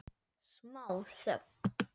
Smá þögn.